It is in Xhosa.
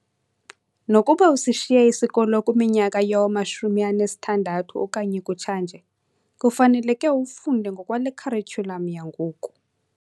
Nokuba usishiye isikolo kwiminyaka yowama-60 okanye kutsha nje, kufaneleke ufunde ngokwale kharityulam yangoku.